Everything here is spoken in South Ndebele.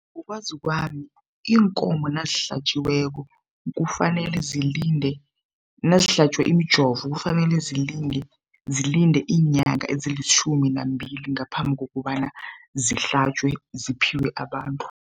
Ngokwazi kwami iinkomo nazihlatjiweko kufanele zilinde nazihlatjwe umjovo kufanele zilinde iinyanga ezilitjhumi nambili ngaphambi kukobana zihlatjwe, ziphiwe abantu.